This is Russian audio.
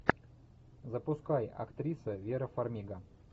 запускай актриса вера фармига